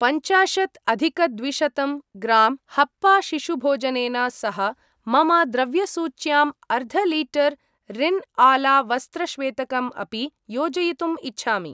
पञ्चाशत् अधिकद्विशतम् ग्रां हप्पा शिशुभोजनेन सह मम द्रव्यसूच्यां अर्ध लीटर् रिन् आला वस्त्रश्वेतकम् अपि योजयितुम् इच्छामि।